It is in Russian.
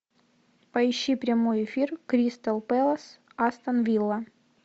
поищи прямой эфир кристал пэлас астон вилла